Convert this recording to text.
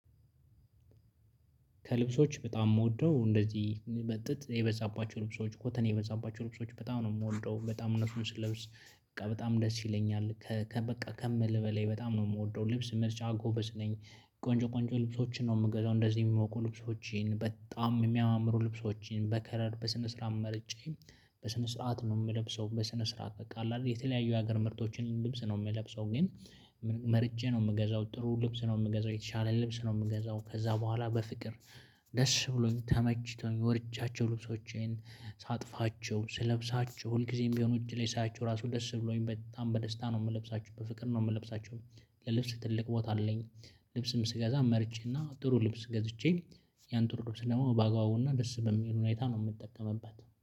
ከልብሶች በጣም የምወደው እንደዚህ በጥጥ የበዛባቸው ልብሶች ኮተን የበዛባቸው ልብሶች በጣም ነው የምወደው በጣም እነሱን ስለብስ በቃ በጣም ደስ ይለኛል። በቃ ከምልህ በላይ በጣም ነው የምወደው ልብስ ምርጫ ጎበዝ ነኝ። ቆንጆ ቆንጆ ልብሶችን ነው የምገዛው እንደዚህ የሚሞቁ ልብሶችን በጣም የሚያማምሩ ልብሶችን በከለር በስነ ስርዓት መርጬ። በስነ ስርዓት ነው የምለብሰው በስነ ስርዓት በቃ አይደል የተለያዩ የሀገር ምርቶችን ልብስ ነው የምለብሰው ግን። መርጬ ነው የምገዛው ጥሩ ልብስ ነው የምገዛው የተሻለ ልብስ ነው የምገዛው ከዛ በኋላ በፍቅር። ደስ ብሎኝ ተመችቶኝ ወድጃቸው ልብሶቼን ሳጥፋቸው ስለብሳቸው ሁልጊዜም ቢሆን ውጪ ላይ ሳያችሁ ራሱ ደስ ብሎኝ በጣም በደስታ ነው የምለብሳችሁ በፍቅር ነው የምለብሳችሁ። ለልብስ ትልቅ ቦታ አለኝ። ልብስም ስገዛ መርጬና ጥሩ ልብስ ገዝቼ ያን ጥሩ ልብስ ደግሞ ባአግባቡና ደስ በሚል ሁኔታ ነው የምጠቀምበት